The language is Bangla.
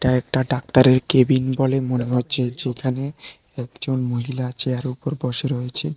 একটা ডাক্তারের কেবিন বলে মনে হচ্ছে যেখানে একজন মহিলা চেয়ারের উপর বসে রয়েছে।